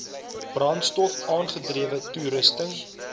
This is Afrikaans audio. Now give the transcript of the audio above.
brandstof aangedrewe toerusting